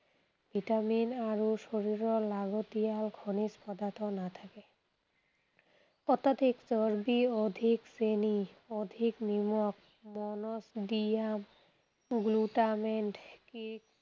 Vitamin আৰু শৰীৰৰ লাগতিয়াল খনিজ পদাৰ্থ নাথাকে। অত্যধিক চৰ্বি, অধিক চেনি, অধিক নিমখ, monosodium glutamate